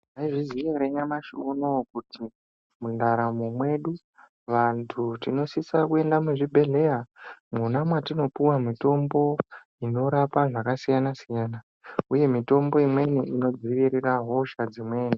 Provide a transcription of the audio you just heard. Maizviziya here nyamashi unowu kuti mundaramo mwedu vantu tinosiso kuenda muzvibhedhlera mwona matinopiwa mitombo inorapa zvakasiyana siyana uye mitombo inodzivirira hosha dzimweni.